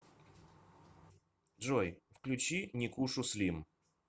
джой включи никушу слим